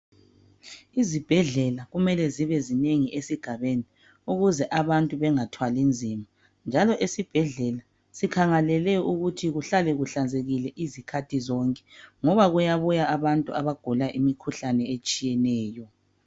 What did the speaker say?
Izibhedlela kumele zibe zinengi esigabeni ukuze abantu bengathwalinzima njalo esibhedlela sikhangelele ukuthi kuhlale kuhlanzekile izikhathi zonke ngoba kuyabuya abantu abagula imikhuhlane etshiyeneyo.